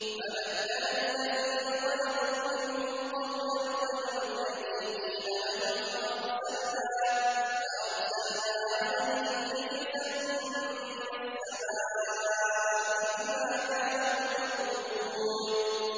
فَبَدَّلَ الَّذِينَ ظَلَمُوا مِنْهُمْ قَوْلًا غَيْرَ الَّذِي قِيلَ لَهُمْ فَأَرْسَلْنَا عَلَيْهِمْ رِجْزًا مِّنَ السَّمَاءِ بِمَا كَانُوا يَظْلِمُونَ